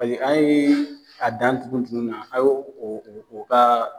Hali an ye a dan tugu tugu na aye o ka.